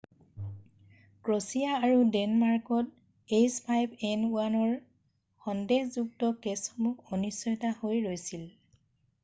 Croatia আৰু ডেনমাৰ্কত h5n1 ৰ সন্দেহযুক্ত কেছসমূহ অনিশ্চয়তা হৈ ৰৈছিল৷